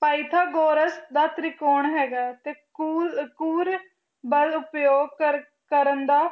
Pythagoras ਦਾ ਤਿਰਿਗੋਨ ਹੈਗਾ ਤੇ ਕੂੜੁ ਕੁਰਬਲ ਉਪਯੋਗ ਕਰਨ ਦਾ